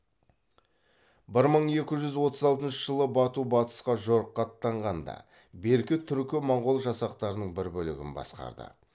бір мың екі жүз отыз алтыншы жылы бату батысқа жорыққа аттанғанда берке түркі моңғол жасақтарының бір бөлігін басқарды